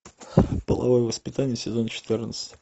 половое воспитание сезон четырнадцать